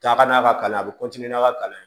Taa ka n'a ka kalan a bɛ n'a ka kalan ye